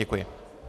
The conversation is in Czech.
Děkuji.